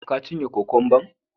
Ka cinye kwakamban??